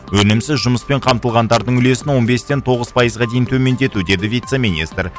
өнімсіз жұмыспен қамтылғандардың үлесін он бестен тоғыз пайызға дейін төмендету деді вице министр